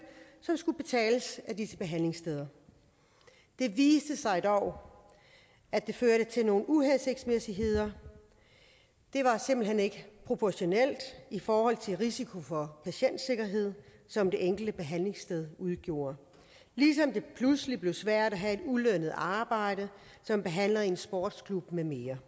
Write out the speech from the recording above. som skulle betales af disse behandlingssteder det viste sig dog at det førte til nogle uhensigtsmæssigheder det var simpelt hen ikke proportionalt i forhold til risiko for patientsikkerhed som det enkelte behandlingssted udgjorde ligesom det pludselig blev svært at have et ulønnet arbejde som behandler i en sportsklub med mere